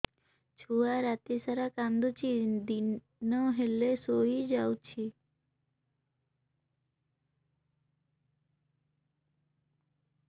ଛୁଆ ରାତି ସାରା କାନ୍ଦୁଚି ଦିନ ହେଲେ ଶୁଇଯାଉଛି